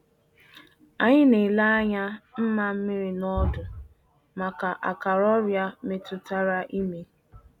Anyị na-ele anya nmamiri na ọdụ maka akara ọrịa metụtara ime.